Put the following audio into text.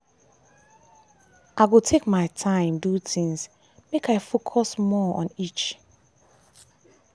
i go take my time do things make i focus more on on each.